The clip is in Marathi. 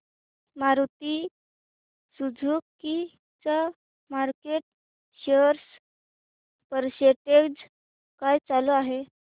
मारुती सुझुकी चा मार्केट शेअर पर्सेंटेज काय चालू आहे